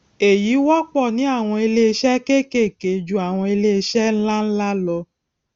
èyí wọpọ ní àwọn iléiṣẹ kékèké ju àwọn iléiṣẹ ńláńlá lọ